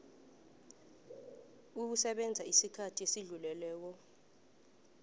ukusebenza isikhathi esidluleleko